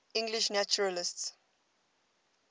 english naturalists